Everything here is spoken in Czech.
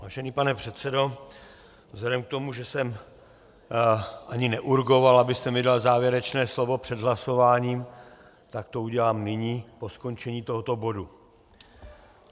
Vážený pane předsedo, vzhledem k tomu, že jsem ani neurgoval, abyste mi dal závěrečné slovo před hlasováním, tak to udělám nyní, po skončení tohoto bodu.